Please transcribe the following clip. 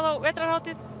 á vetrarhátíð